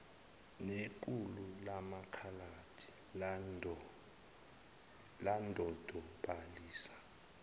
nequlu lamakhaladi ladodobaliswa